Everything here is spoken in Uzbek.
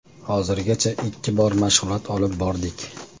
Hozirgacha ikki bor mashg‘ulot olib bordik.